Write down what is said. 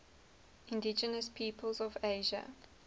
indigenous peoples of asia